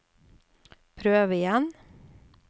prøv igjen